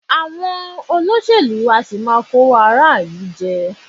Àwọn olóṣèlú á sì máa kówó ará ìlú jẹ